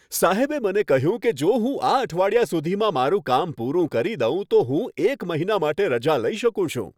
સાહેબે મને કહ્યું કે જો હું આ અઠવાડિયા સુધીમાં મારું કામ પૂરું કરી દઉં, તો હું એક મહિના માટે રજા લઈ શકું છું!